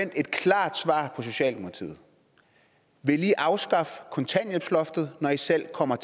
et klart svar fra socialdemokratiet vil i afskaffe kontanthjælpsloftet når i selv kommer